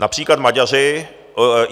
Například Maďaři...